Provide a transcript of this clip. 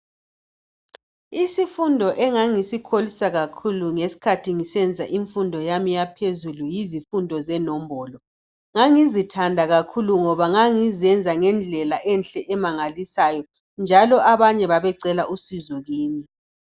Isifundo engangisikholisa kakhulu ngesikhathi ngisenza imfundo yami yaphezulu yizifundo zenombolo ngangizithanda kakhulu ngoba ngangizenza ngendlela enhle emangalisayo njalo abanye babecela usizo kimi.